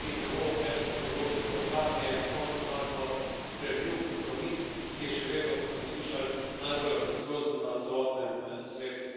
Tudi zelo težko področje, kar je na koncu našlo sprejemljiv kompromis, ki je še vedno, kot smo slišali, najbolj ambiciozen na celotnem svetu.